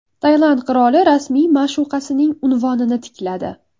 Tailand qiroli rasmiy ma’shuqasining unvonini tikladi.